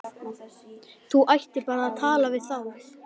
Þú ættir bara að tala við þá!